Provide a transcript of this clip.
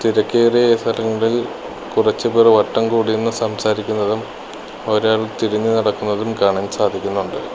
തിരക്കേറിയ ഈ സ്ഥലങ്ങളിൽ കുറച്ചു പേർ വട്ടം കൂടിയിരുന്ന് സംസാരിക്കുന്നതും ഒരാൾ തിരിഞ്ഞു നടക്കുന്നതും കാണാൻ സാധിക്കുന്നുണ്ട്.